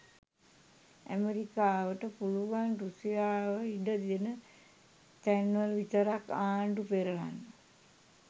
ඇමෙරිකාවට පුළුවන් රුසියාව ඉඩ දෙන තැන් වල විතරක් ආණ්ඩු පෙරලන්න.